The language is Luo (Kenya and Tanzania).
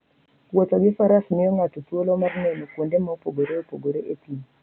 Wuotho gi Faras miyo ng'ato thuolo mar neno kuonde mopogore opogore e thim.